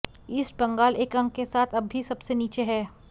east Bengal एक अंक के साथ अब भी सबसे नीचे है